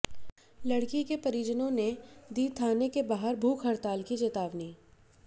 लड़की के परिजनों ने दी थाने के बाहर भूख हड़ताल की चेतावनी